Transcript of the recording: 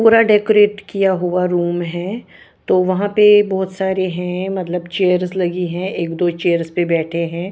पूरा डेकरैट किया हुआ रूम है तो वहाँ पे बहुत सारे है मतलब चेयर्स लगी ही एक दो चेयर्स पे बैठे है।